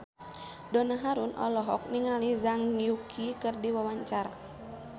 Donna Harun olohok ningali Zhang Yuqi keur diwawancara